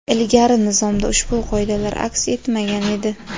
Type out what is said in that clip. Ilgari nizomda ushbu qoidalar aks etmagan edi.